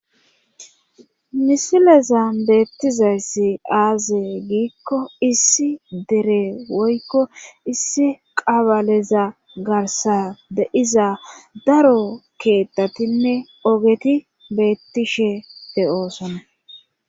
misileza beettizayssi aaze giikko issi dere woykko issi qabaleza garsa deiza daro keettatinne ogeti beettishe de'osona